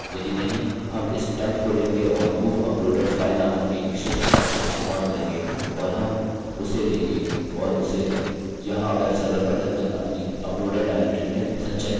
यदि नहीं हम इस temp को लेंगे और move uploaded file नामक एक विशिष्ट फंक्शनfunction इस्तेमाल करेंगे और हम उसे लेंगे और उसे यहाँ वेब सर्वर पर निर्मित अपनी uploaded directory में संचय करेंगे